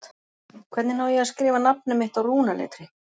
Hvernig á ég að skrifa nafnið mitt á rúnaletri?